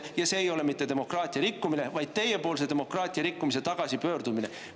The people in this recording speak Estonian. Ja see ei ole mitte demokraatia rikkumine, vaid teiepoolse demokraatia rikkumise tagasipööramine.